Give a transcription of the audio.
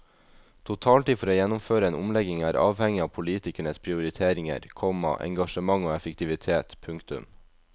Totaltid for å gjennomføre en omlegging er avhengig av politikernes prioriteringer, komma engasjement og effektivitet. punktum